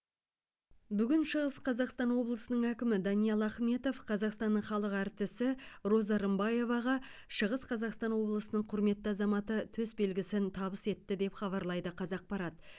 бүгін шығыс қазақстан облысының әкімі даниал ахметов қазақстанның халық әртісі роза рымбаеваға шығыс қазақстан облысының құрметті азаматы төсбелгісін табыс етті деп хабарлайды қазақпарат